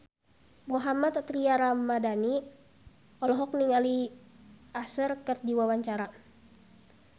Mohammad Tria Ramadhani olohok ningali Usher keur diwawancara